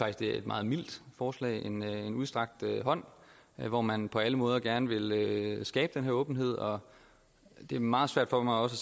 at det er et meget mildt forslag en udstrakt hånd hvor man på alle måder gerne vil skabe den her åbenhed og det er meget svært for mig også